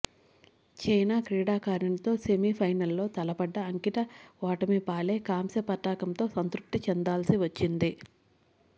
China క్రీడాకారిణితో సెమిఫైనల్లో తలపడ్డ అంకిత ఓటమిపాలై కాంస్య పతకంతో సంతృప్తి చెందాల్సి వచ్చింది